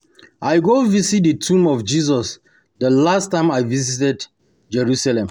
I go visit the tomb of Jesus the last time I visit Jerusalem